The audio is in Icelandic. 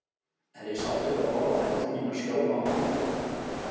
Er ég sáttur við að horfa á hendur mínar skjálfa á mánudögum?